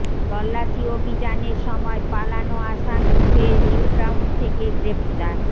তল্লাশি অভিযানের সময় পালানো আসামি ফের নিউটাউন থেকে গ্রেফতার